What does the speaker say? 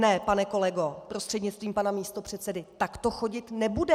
Ne, pane kolego prostřednictvím pana místopředsedy, tak to chodit nebude.